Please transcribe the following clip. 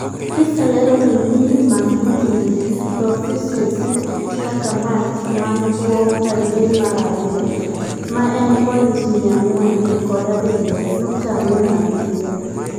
PISA lero ni minimum reading proficiency kaka maks man bwoo rang'iny mar ariyo ma en points mia ang'wen kod abirio nukta ang'wen abirio.